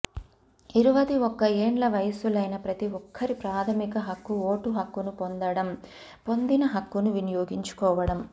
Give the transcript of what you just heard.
ఇరువది ఒక్క ఏండ్ల వయస్కులైన ప్రతి ఒక్కరి ప్రాధమిక హక్కు ఓటు హక్కును పొందడం పొందిన హక్కును వినియోగించుకోవడం